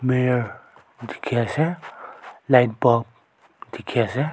mirror dikhiase light bulb dikhiase.